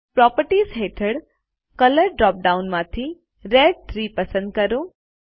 properties હેઠળ colour drop down માંથી red 3 પસંદ કરો